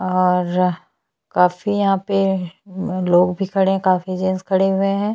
और काफी यहाँ पे लोग भी खड़े है काफी जेन्स खड़े हुए है।